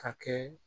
A kɛ